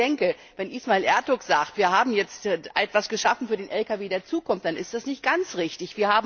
Aber ich denke, wenn Ismail Ertug sagt, wir haben jetzt etwas geschaffen für den Lkw der Zukunft, dann ist das nicht ganz richtig.